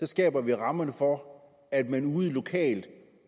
skaber vi rammerne for at man ude lokalt